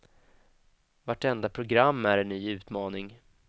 Vartenda program är en ny utmaning.